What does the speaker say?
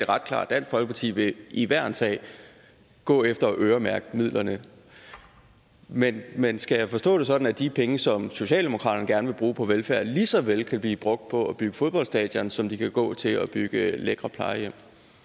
ret klart dansk folkeparti vil i hver en sag gå efter at øremærke midlerne men men skal jeg forstå det sådan at de penge som socialdemokratiet gerne vil bruge på velfærd lige så vel kan blive brugt på at bygge fodboldstadioner som de kan gå til at bygge lækre plejehjem